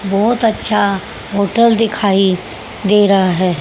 बहोत अच्छा होटल दिखाई दे रहा है।